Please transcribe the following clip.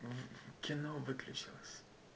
кино выключилось